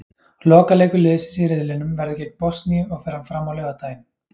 Lokaleikur liðsins í riðlinum verður gegn Bosníu og fer hann fram á laugardaginn.